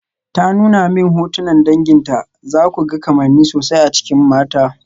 Ta nuna min hotunan danginta, zaku ga kamanni sosai a cikin mata.